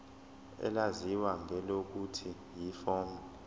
elaziwa ngelokuthi yiform